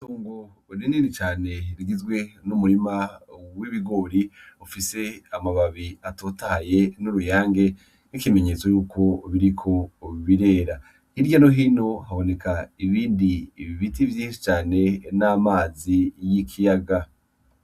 Itongo rinini cane rigizwe n'umurima w'ibigori ufise amababi atotahaye n'uruyange nk'ikimenyetso yuko biriko birera . Hirya no hino haboneka ibindi biti vyinshi cane n'amazi y'ikiyaga.